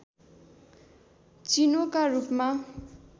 चिनोका रूपमा